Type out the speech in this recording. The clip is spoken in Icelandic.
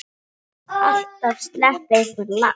Alltaf sleppi einhver lax.